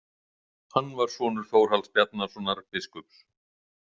Hann var sonur Þórhalls Bjarnasonar biskups.